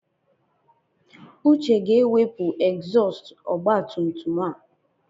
Uche ga-ewepụ egzọọst ọgbatumtum a.